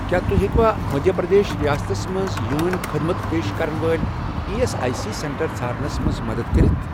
کیٛاہ تُہۍ ہیٚکوا مٔدھیہ پرٛدیش رِیاستس مَنٛز یوٗنٲنؠ خدمت پیش کرن وٲلۍ E S I C centre ژھارنَس مَنٛز مدد کٔرِتھ؟